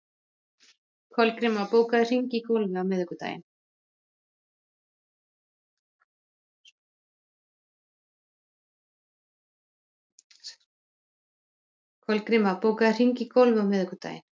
Kolgríma, bókaðu hring í golf á miðvikudaginn.